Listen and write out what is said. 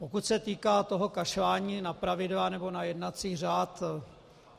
Pokud se týká toho kašlání na pravidla nebo na jednací řád...